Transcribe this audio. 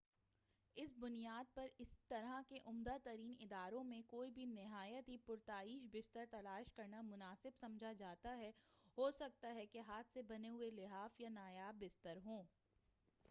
اسی بنیاد پر اس طرح کے عمدہ ترین اداروں میں کوئی بھی نہایت ہی پرتعیش بستر تلاش کرنا مناسب سمجھتا ہے ہوسکتا ہے کہ ہاتھ سے بنے ہوئے لحاف یا نایاب بستر ہو